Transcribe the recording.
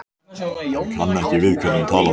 Hann kann ekki við hvernig hún talar.